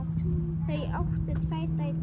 Þau áttu tvær dætur.